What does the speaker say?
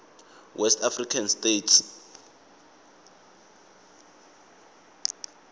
west african states